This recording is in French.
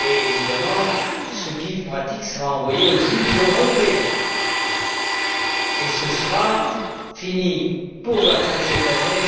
Évidemment, ce guide pratique sera envoyé aux juges européens et sera fini pour la fin de cette année.